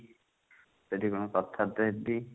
ସେଠି କଣ କଥାବାର୍ତା ହେବି।